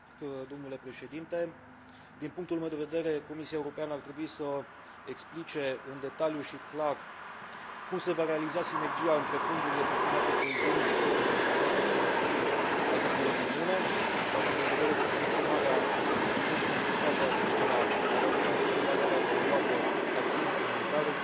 Din punctul meu de vedere, Comisia Europeană ar trebui să explice în detaliu și clar cum se va realiza sinergia între fondurile destinate coeziunii și fondurile destinate politicii agricole comune, având în vedere că funcționarea într un mod concertat al acestora ar aduce un plus de valoare adăugată acțiunii comunitare și ar duce,